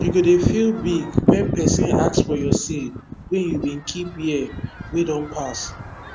you go dey feel big when person ask for your seed wey your bin keep year wey don pass